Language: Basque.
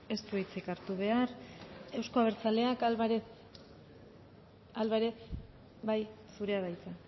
ez du hitzik hartu behar euzko abertzaleak álvarez álvarez bai zurea da hitza